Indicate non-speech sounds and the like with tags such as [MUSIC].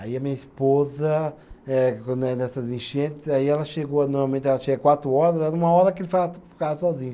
Aí a minha esposa, eh quando é nessas enchentes, aí ela chegou, normalmente ela chega quatro horas, era uma hora que [UNINTELLIGIBLE] ficava sozinho.